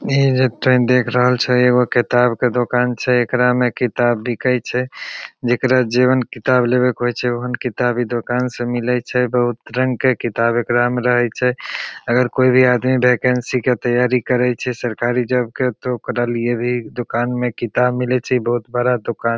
ई जे ट्रैन देख रहल छै एओ किताब के दुकान छै एकरा में किताब बिकाय छै जेकरा जेवन किताब लेवेक होइ छै ओहन किताब ई दुकान से मिलय छै बहुत रंग के किताब एकरा में रहे छै अगर कोई भी आदमी वेकन्सी के तैयारी करे छै सरकारी जॉब के तो ओकरा लिए भी दुकान म किताब मिलये छै ई बहुत बड़ा दुकान--